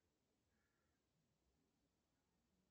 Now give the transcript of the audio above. иди в баню